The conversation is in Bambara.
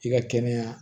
I ka kɛnɛya